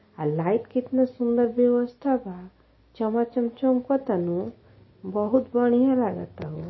आ लाइट के केतना सुन्दर व्यवस्था बा। चमाचम चमकता नु बहुत बढ़िया लगता हो।